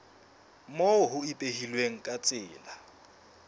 moo ho ipehilweng ka tsela